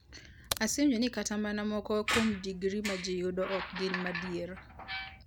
Asewinjo ni kata mana moko kuom digri ma ji yudo ok gin madier.